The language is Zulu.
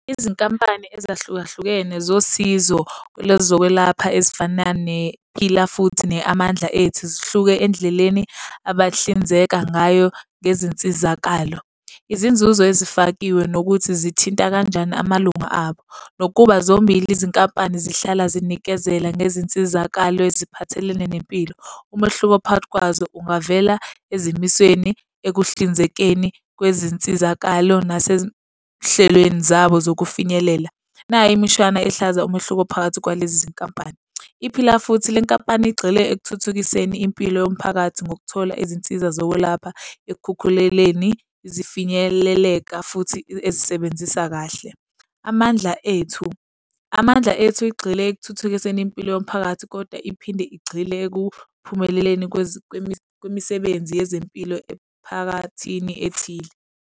Izinkampani ezahlukahlukene zosizo lwezokwelapha ezifana nePhila Futhi ne-Amandla Ethu zihluke endleleni abahlinzeka ngayo ngezinsizakalo. Izinzuzo ezifakiwe nokuthi zithinta kanjani amalunga abo, nokuba zombili izinkampani zihlala zinikezela ngezinsizakalo eziphathelene nempilo. Umehluko phakathi kwazo ungavela ezimisweni ekuhlinzekeni kwezinsizakalo, nasezihlelweni zabo zokufinyelela. Nayi imishwana ehlaza umehluko phakathi kwalezi zinkampani. IPhila Futhi, le nkampani igxile ekuthuthukiseni impilo yomphakathi ngokuthola izinsiza zokwelapha ekhukhuleleni zifinyeleleka futhi ezisebenzisa kahle. Amandla Ethu, Amandla Ethu igxile ekuthuthukiseni impilo yomphakathi kodwa iphinde igxile ekuphumeleleni kwemisebenzi yezempilo emphakathini ethile.